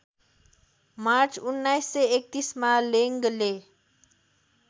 March १९३१ मा लेङ्गले